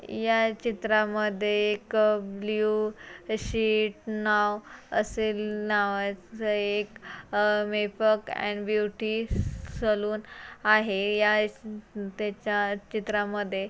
या चित्रामध्ये एक ब्लू शिट नाव असे नावाचे एक अह मेकअप अँड ब्युटि सलून आहे. या त्याच्या चित्रामध्ये --